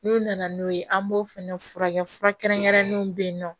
N'u nana n'o ye an b'o fɛnɛ furakɛ fura kɛrɛnkɛrɛnnenw bɛ yen nɔ